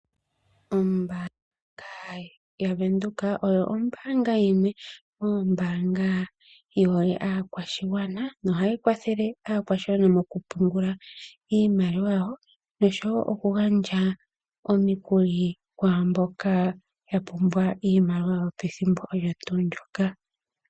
Ombanga yaVenduka oyo ombanga yimwe moombanga yi hole aakwashigwana , nohayi kwathele aakwashigwana moku pungula iimaliwa yawo. Noshowo oku gandja omikuli kwaamboka ya pumbwa ,iimaliwa ethimbo olyo ndyoka.